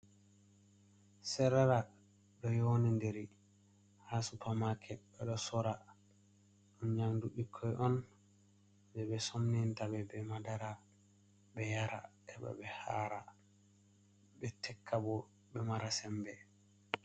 Serelak ɗo yonindiri haa supamaket ɓe ɗo soora ɗum nyaamdu ɓikkoy on jay ɓe sofnanta ɓe bee madara ɓe yara heɓa ɓe haara ɓe tekka boo ɓe mara semmbe.